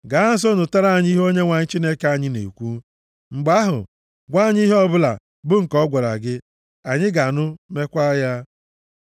Gaa nso nụtara anyị ihe Onyenwe anyị Chineke anyị na-ekwu, mgbe ahụ, gwa anyị ihe ọbụla bụ nke ọ gwara gị, anyị ga-anụ, mekwa ya.”